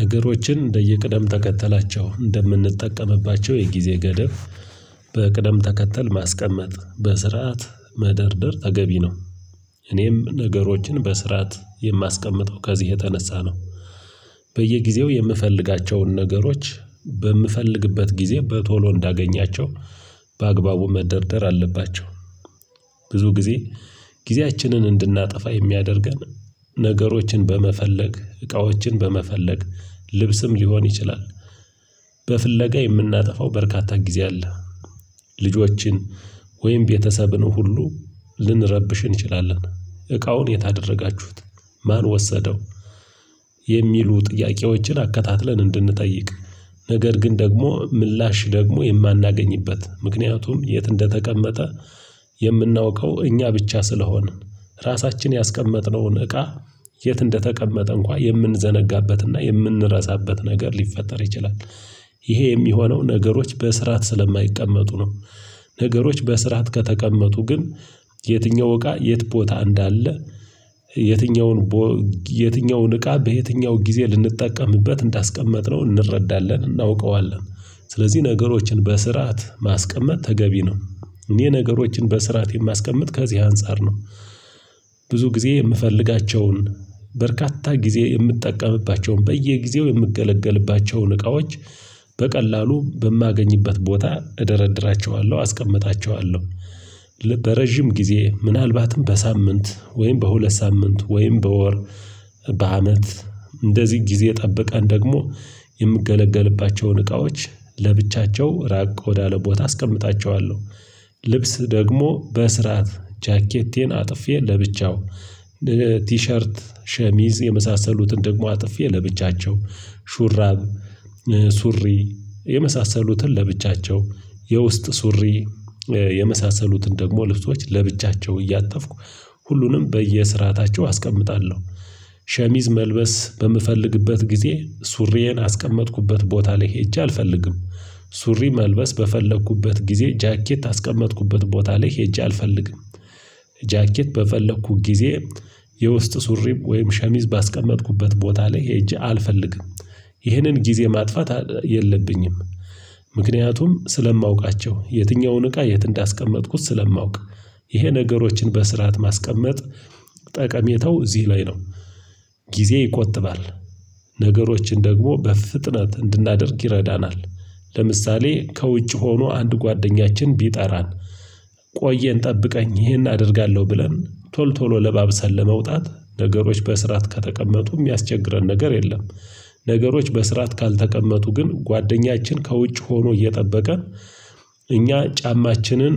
ነገሮችን እንደየቅደም ተከተላቸው እንደምንጠቀምባቸው የጊዜ ገደብ በቅደም ተከተል ማስቀመጥ በስርዓት መደርደር ተገቢ ነው። እኔም ነገሮችን በስርዓት የማስቀምጠው ከዚህ የተነሳ ነው። በየጊዜው የምፈልጋቸውን ነገሮች በምፈልግበት ጊዜ በቶሎ እንዳገኛቸው በአግባቡ መደርደር አለባቸው። ብዙ ጊዜ ጊዜያችንን እንድናጠፋ የሚያደርገን ነገሮችን በመፈለግ እቃዎችን በመፈለግ ልብስም ሊሆን ይችላል። በፍለጋ የምናጠፋው በርካታ ጊዜ አለ። ልጆችን ወይም ቤተሰብን ሁሉ ልንረብሽ እንችላለን እቃውን የታደረጋችሁት ማን ወሰደው? የሚሉ ጥያቄዎችን አከታትለን እንድንጠይቅ ነገር ግን ደግሞ ምላሽ ደግሞ የማናገኝበት ምክንያቱም የት እንደተቀመጠ የምናውቀው እኛ ብቻ ስለሆንን። ራሳችን ያስቀመጥነውን እቃ የት እንደተቀመጠ እንኳን የምንዘነጋበትና የምንረሳበት ነገር ሊፈጠር ይችላል። ይሄ የሚሆነው ነገሮች በስርዓት ስለማይቀመጡ ነው። ነገሮች በስርዓት ከተቀመጡ ግን የትኛው እቃ የት ቦታ እንዳለ? የትኛውን ቦ የትኛውን እቃ በየትኛው ጊዜ ልንጠቀምበት እንዳስቀመጥነው እንረዳለን እናውቀዋለን። ስለዚህ ነገሮችን በስርዓት ማስቀመጥ ተገቢ ነው። እኔ ነገሮችን በስርዓት የማስቀምጥ ከዚህ አንፃር ነው። ብዙ ጊዜ የምፈልጋቸውን በርካታ ጊዜ የምጠቀምባቸውን በየጊዜው የምገለገልባቸውን እቃዎች በቀላሉ በማገኝበት ቦታ እደረድራቸዋለሁ አስቀምጣቸዋለሁ። በረጅም ጊዜ ምናልባትም በሳምንት ወይም በሁለት ሳምንት ወይም በወር በአመት እንደዚህ ጊዜ ጠብቀን ደግሞ የምገለገልባቸውን እቃዎች ለብቻቸው ራቅ ወዳለ ቦታ አስቀምጣቸዋለሁ። ልብስ ደግሞ በስራት ጃኬቴን አጥፌ ለብቻው ቲሸርት ሸሚዝ የመሳሰሉትን ደግሞ አጥፌ ለብቻቸው ሹራብ ሱሪ የመሳሰሉትን ለብቻቸው የውስጥ ሱሪ የመሳሰሉትን ደግሞ ልብሶች ለብቻቸው እያጠፍኩ ሁሉንም በየስርዓታቸው አስቀምጣለሁ። ሸሚዝ መልበስ በምፈልግበት ጊዜ ሱሪዬን አስቀመጥኩበት ቦታ ላይ ሄጄ አልፈልግም። ሱሪ መልበስ በፈለኩበት ጊዜ ጃኬት አስቀመጥኩበት ቦታ ላይ ሄጄ አልፈልግም። ጃኬት በፈለኩት ጊዜ የውስጥ ሱሪም ወይም ሸሚዝ ባስቀመጥኩበት ቦታ ላይ ሄጄ አልፈልግም። ይህንን ጊዜ ማጥፋት የለብኝም። ምክንያቱም ስለማውቃቸው የትኛውን እቃ የት እንዳስቀመጥኩት ስለማውቅ። ይሄ ነገሮችን በስርዓት ማስቀመጥ ጠቀሜተው እዚህ ላይ ነው። ጊዜ ይቆጥባል። ነገሮችን ደግሞ በፍጥነት እንድናደርግ ይረዳናል። ለምሳሌ ከውጭ ሆኖ አንድ ጓደኛችን ቢጠራን ቆየን ጠብቀኝ ይሄን አደርጋለሁ ብለን ቶል ቶሎ ለባብሰን ለመውጣት ነገሮች በስራት ከተቀመጡ የሚያስቸግረን ነገር የለም። ነገሮች በስራት ካልተቀመጡ ግን ጓደኛችን ከውጭ ሆኖ እየጠበቀ እኛ ጫማችንን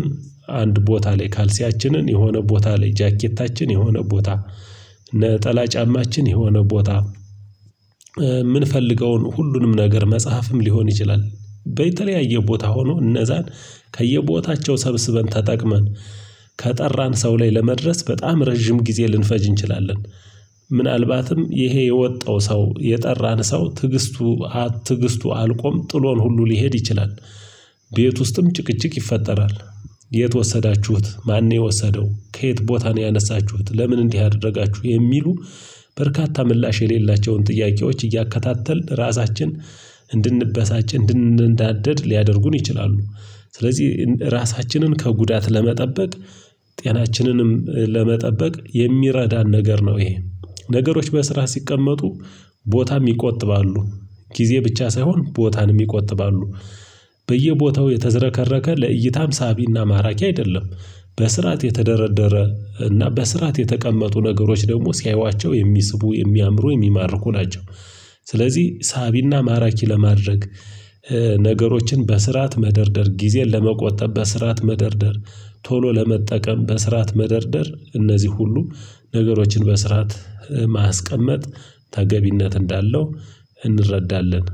አንድ ቦታ ላይ ካልሲያችንን የሆነ ቦታ ላይ ጃኬታችን የሆነ ቦታ ነጠላ ጫማችን የሆነ ቦታ የምንፈልገውን ሁሉንም ነገር መጽሐፍም ሊሆን ይችላል በየተለያየ ቦታ ሆኖ እነዛን ከየቦታቸው ሰብስበን ተጠቅመን ከጠራን ሰው ላይ ለመድረስ በጣም ረጅም ጊዜ ልንፈጅ እንችላለን። ምናልባትም ይሄ የወጣው ሰው የጠራን ሰው ትግስቱ ትግስቱ አልቆም ጥሎን ሁሉ ሊሄድ ይችላል። ቤት ውስጥም ጭቅጭቅ ይፈጠራል። የት ወሰዳችሁት ማን የወሰደው ከየት ቦታ ነው ያነሳችሁት ለምን እንዲህ አደረጋችሁ የሚሉ? በርካታ ምላሽ የሌላቸውን ጥያቄዎች እያከታተልን ራሳችን እንድንበሳጭ እንድንዳደድ ሊያደርጉን ይችላሉ። ስለዚህ ራሳችንን ከጉዳት ለመጠበቅ ጤናችንንም ለመጠበቅ የሚረዳን ነገር ነው ይሄ። ነገሮች በስራ ሲቀመጡ ቦታም ይቆጥባሉ። ጊዜ ብቻ ሳይሆን ቦታንም ይቆጥባሉ። በየቦታው የተዘረከረከ ለእይታም ሳቢና ማራኪ አይደለም። በስርዓት የተደረደረ እና በስርዓት የተቀመጡ ነገሮች ደግሞ ሲያዩዋቸው የሚስቡ የሚያምሩ የሚማርኩ ናቸው። ስለዚህ ሳቢና ማራኪ ለማድረግ ነገሮችን በስርዓት መደርደር ጊዜን ለመቆጠብ በስርዓት መደርደር ቶሎ ለመጠቀም በስርዓት መደርደር እነዚህ ሁሉ ነገሮችን በስራት ማስቀመጥ ተገቢነት እንዳለው እንረዳለን።